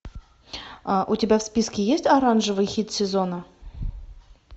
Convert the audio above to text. у тебя в списке есть оранжевый хит сезона